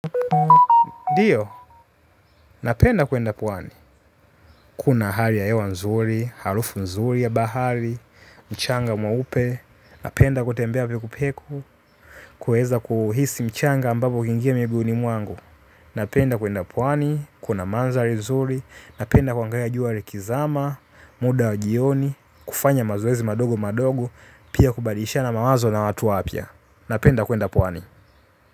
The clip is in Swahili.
Ndio, napenda kuenda pwani. Kuna hali ya hewa nzuri, harufu nzuri ya bahari, mchanga mweupe, napenda kutembea peku peku, kueza kuhisi mchanga ambapo ukiingia miguni mwangu. Napenda kuenda pwani, kuna manzari nzuri, napenda kuangalia jua likizama, muda wa jioni, kufanya mazoezi madogo madogo, pia kubadilishana mawazo na watu wapya. Napenda kuenda puwani.